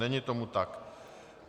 Není tomu tak.